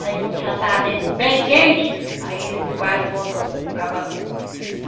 Aí quando já está bem bem quente, aí ele vai e bota o cavador.